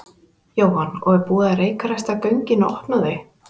Jóhann: Og búið að reykræsta göngin og opna þau?